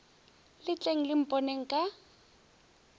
le tleng le mponeng ka